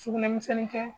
Sugunɛbilenni kɛ